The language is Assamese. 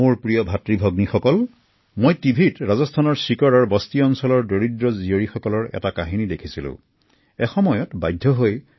মোৰ মৰমৰ ভাইভনীসকল কিছুদিন পূৰ্বে মই ৰাজস্থানৰ শিকাৰৰ এটি বস্তি অঞ্চলৰ কেইগৰাকীমান কন্যাৰ কাহিনী টিভিত চাই আছিলো